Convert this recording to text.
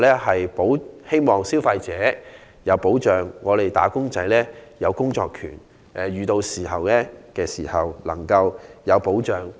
我們希望消費者有保障，並讓"打工仔"有工作權及遇事時能有保障。